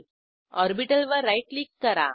ऑर्बिटलवर right click करा